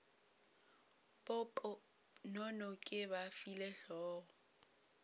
poponono ke ba file hlogo